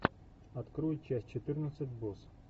открой часть четырнадцать босс